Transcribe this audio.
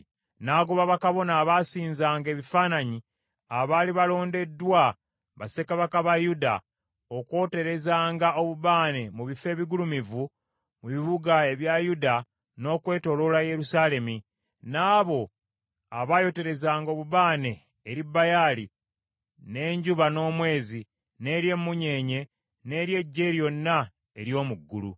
N’agoba bakabona abaasinzanga ebifaananyi abaali balondeddwa bassekabaka ba Yuda okwoterezanga obubaane mu bifo ebigulumivu mu bibuga ebya Yuda n’okwetooloola Yerusaalemi, n’abo abayoterezanga obubaane eri Baali n’enjuba n’omwezi, n’eri emunyeenye n’eri eggye lyonna ery’omu ggulu.